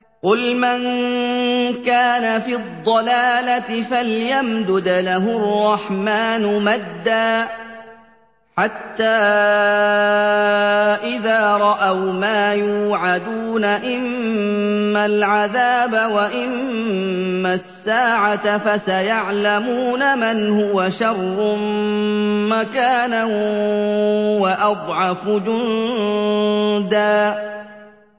قُلْ مَن كَانَ فِي الضَّلَالَةِ فَلْيَمْدُدْ لَهُ الرَّحْمَٰنُ مَدًّا ۚ حَتَّىٰ إِذَا رَأَوْا مَا يُوعَدُونَ إِمَّا الْعَذَابَ وَإِمَّا السَّاعَةَ فَسَيَعْلَمُونَ مَنْ هُوَ شَرٌّ مَّكَانًا وَأَضْعَفُ جُندًا